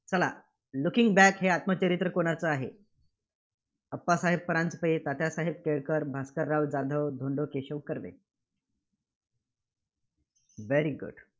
चला looking back हे आत्मचरित्र कुणाचं आहे? Appasaheb Paranjape, Tatyasaheb Kelkar, Bhaskarrao Jadhav, Dhondo Keshav Karve, very good